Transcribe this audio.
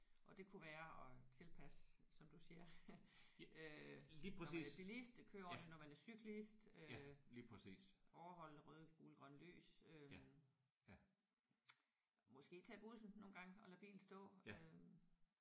Og det kunne være at tilpasse som du siger øh når man er billist køre ordenligt når man er cyklist øh overholde røde gule grønne lys. Øh måske tage bussen nogle gange og lade bilen stå øh